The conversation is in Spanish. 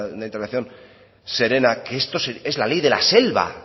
una intervención serena es la ley de la selva